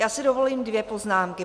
Já si dovolím dvě poznámky.